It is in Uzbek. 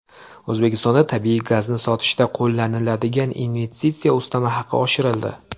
O‘zbekistonda tabiiy gazni sotishda qo‘llaniladigan investitsiya ustama haqi oshirildi.